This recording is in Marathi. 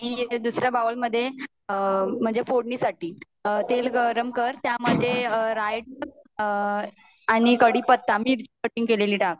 दुसर्या बाउल मध्ये म्हणजे फोड़नीसाठी तेल गरम कर आणि त्यामध्ये राय आणि कढीपत्ता आणि मिर्ची कटिंग केलेली टाक